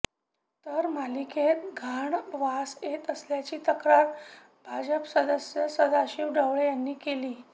तर महापालिकेत घाण वास येत असल्याची तक्रार भाजप सदस्य सदाशीव ढेकळे यांनी केली